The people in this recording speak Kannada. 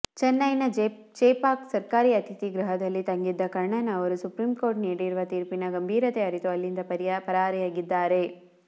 ಚೆನ್ನೈನ ಚೆಪಾಕ್ ಸರ್ಕಾರಿ ಅತಿಥಿಗೃಹದಲ್ಲಿ ತಂಗಿದ್ದ ಕರ್ಣನ್ ಅವರು ಸುಪ್ರೀಂ ಕೋರ್ಟ್ ನೀಡಿರುವ ತೀರ್ಪಿನ ಗಂಭೀರತೆ ಅರಿತು ಅಲ್ಲಿಂದ ಪರಾರಿಯಾಗಿದ್ದಾರೆ